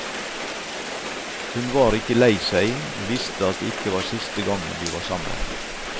Hun var ikke lei seg, visste at det ikke var siste gangen de var sammen.